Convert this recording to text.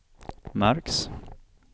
märks